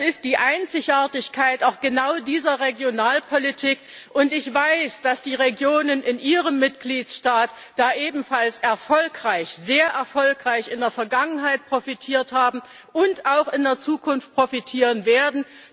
Das ist die Einzigartigkeit genau dieser Regionalpolitik, und ich weiß, dass die Regionen in Ihrem Mitgliedstaat da ebenfalls sehr erfolgreich in der Vergangenheit profitiert haben und auch in der Zukunft profitieren werden.